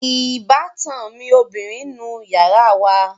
Ìbátan mi ọbìrin ń nu yàrá wa